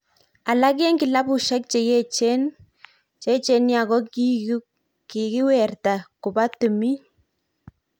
Alak eng kilabushek cheyechen ,cheyechen nia kokikewirta koba timin.